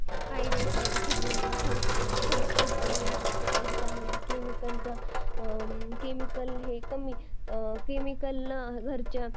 काही वेळेला खूप जणांना फरक पण पडतो मला अस वाटतंय कारण की त्यामधे chemicals हे कमी असते